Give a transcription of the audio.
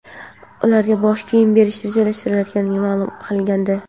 ularga bosh kiyim berish rejalashtirilayotganini ma’lum qilgandi.